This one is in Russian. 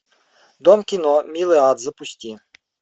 дом кино милый ад запусти